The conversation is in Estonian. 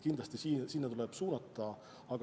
Kindlasti sinna tuleb pingutused suunata.